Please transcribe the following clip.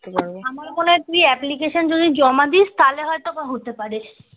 আমার গলায় তুই যদি application যদি জমা দিস তাহলে ওটা হত্যা পারে